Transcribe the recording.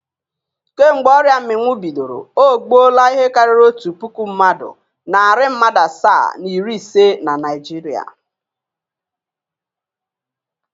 Kemgbe ọrịa mmịnwụ bidoro, o gbuola ihe karịrị otu puku mmadụ, narị mmadụ asaa na iri ise na Naịjirịa.